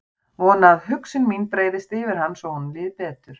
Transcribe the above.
Vona að hugsun mín breiðist yfir hann svo honum líði betur.